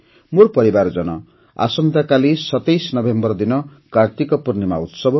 ମୋର ପରିବାରଜନ ଆସନ୍ତାକାଲି ୨୭ ନଭେମ୍ବର ଦିନ କାର୍ତ୍ତିକ ପୂର୍ଣ୍ଣିମା ଉତ୍ସବ